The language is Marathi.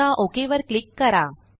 आता ओक वर क्लिक करा